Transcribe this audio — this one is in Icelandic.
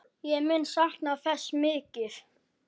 Ég mun sakna þess mikið.